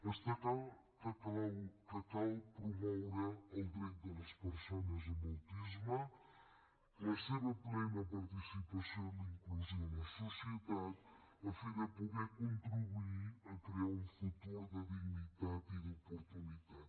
està clar que cal promoure el dret de les persones amb autisme la seva plena participació i la inclusió a la societat a fi de poder contribuir a crear un futur de dignitat i d’oportunitat